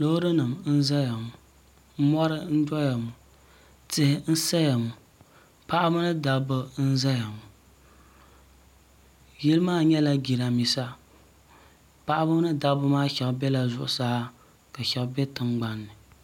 Loori nima n zaya ŋo mori n doya ŋo tihi n saya ŋo paɣaba ni dabba n zaya ŋo yili maa nyɛla jirambisa paɣaba ni dabba maa shɛba biɛla zuɣu saa ka shɛba be tingbanni.